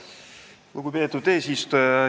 Lugupeetud eesistuja!